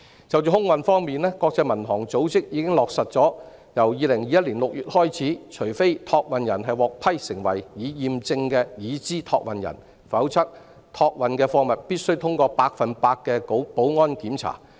就空運方面，國際民航組織已落實由2021年6月起，除非託運人獲批為"已驗證的"已知託運人，否則託運的貨物必須通過百分之一百的保安檢查。